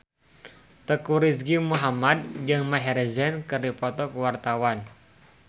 Teuku Rizky Muhammad jeung Maher Zein keur dipoto ku wartawan